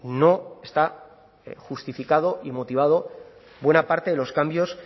no está justificado y motivado buena parte de los cambios